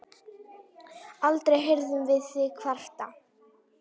Aldrei heyrðum við þig kvarta.